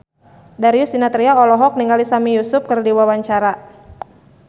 Darius Sinathrya olohok ningali Sami Yusuf keur diwawancara